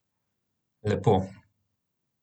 Lepo.